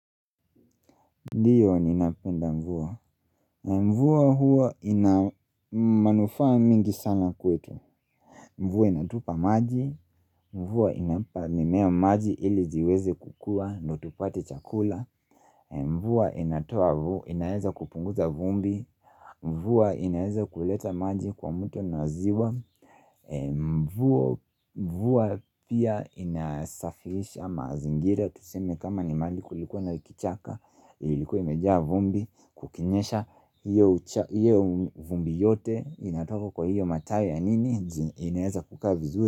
Ndiyo ninapenda mvua Mvua huwa ina manufaa mingi sana kwetu Mvua inatupa maji Mvua inampa mimea maji ili ziweze kukua ndo tupate chakula Mvua inatoa inaeza kupunguza vumbi Mvua inaeza kuleta maji kwa muto na ziwa Mvua pia inasafisha mazingira Tuseme kama ni mahali likuwa na kichaka Ilikuwa imejaa vumbi Kukinyesha hiyo vumbi yote inatoka kwa hiyo matawi ya nini inaeza kukaa vizuri.